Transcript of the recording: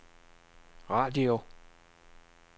radio